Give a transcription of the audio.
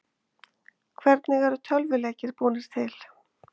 Hvernig eru tölvuleikir búnir til?